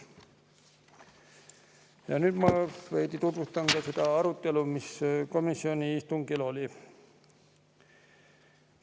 Ja nüüd ma veidi tutvustan seda arutelu, mis komisjoni istungil oli.